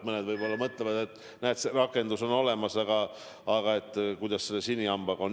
Mõned võib-olla mõtlevad, et rakendus on olemas, aga kuidas selle sinihambaga on.